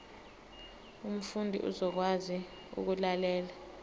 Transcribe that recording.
umfundi uzokwazi ukulalela